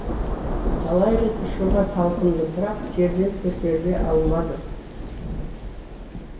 талай рет ұшуға талпындым бірақ жерден көтеріле алмадым